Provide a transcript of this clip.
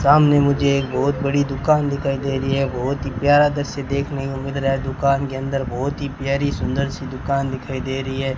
सामने मुझे एक बहोत बड़ी दुकान दिखाई दे रही है बहोत ही प्यारा दृश्य से देखने को मिल रहा है दुकान के अंदर बहोत ही प्यारी सुंदर सी दुकान दिखाई दे रही है।